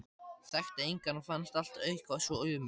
Þekkti engan og fannst allt eitthvað svo ömurlegt.